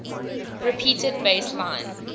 repeated bass line